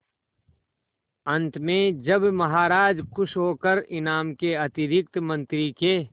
अंत में जब महाराज खुश होकर इनाम के अतिरिक्त मंत्री के